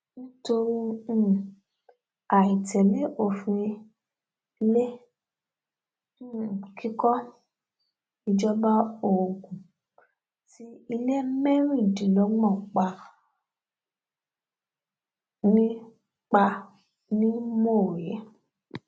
nítorí um àì tẹlé òfin ilé um kíkọ ìjọba ogun ti ilé mẹrìndínlọgbọn pa ni pa ni mọwé